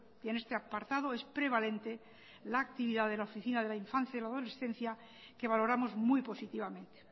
y en este apartado es prevalente la actividad de la oficina de la infancia y la adolescencia que valoramos muy positivamente